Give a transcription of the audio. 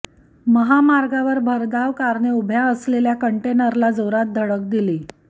महामार्गावर भरधाव कारने उभ्या असलेल्या कंटेनरला जोरात धडक दिली